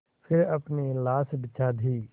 फिर अपनी लाश बिछा दी